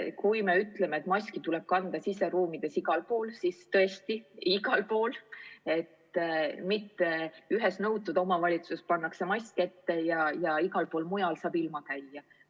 Kui me ütleme, et maski tuleb kanda siseruumides igal pool, siis tõesti tuleb seda teha igal pool, mitte nii, et ühes omavalitsuses pannakse mask ette, aga igal pool mujal saab ilma käia.